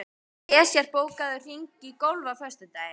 Esjar, bókaðu hring í golf á föstudaginn.